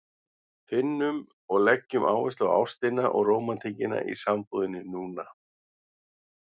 Finnum og leggjum áherslu á ástina og rómantíkina í sambúðinni núna!